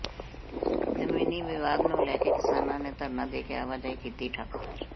ਜ਼ਮੀਨੀ ਵਿਵਾਦ ਨੂੰ ਲੈ ਕੇ ਕਿਸਾਨਾਂ ਨੇ ਧਰਨਾ ਦੇ ਕੇ ਆਵਾਜਾਈ ਕੀਤੀ ਠੱਪ